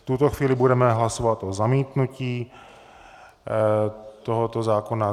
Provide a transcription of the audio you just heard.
V tuto chvíli budeme hlasovat o zamítnutí tohoto zákona.